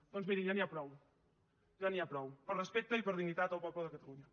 doncs mirin ja n’hi ha prou ja n’hi ha prou per respecte i per dignitat del poble de catalunya